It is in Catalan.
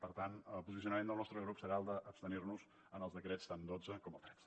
per tant el posicionament del nostre grup serà el d’abstenir nos en els decrets tant al dotze com al tretze